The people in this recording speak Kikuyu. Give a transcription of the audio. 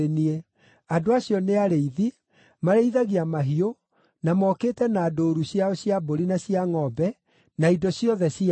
Andũ acio nĩ arĩithi; marĩithagia mahiũ, na mokĩte na ndũũru ciao cia mbũri na cia ngʼombe, na indo ciothe ciao.